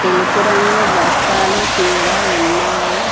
తెలుపు రంగు బస్తాలు కూడా ఉన్నాయి